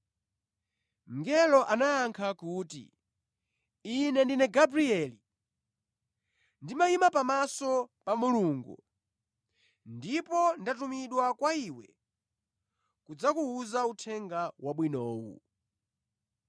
Mngeloyo anayankha kuti, “Ine ndine Gabrieli. Ndimayima pamaso pa Mulungu, ndipo ndatumidwa kwa iwe kudzakuwuza uthenga wabwinowu.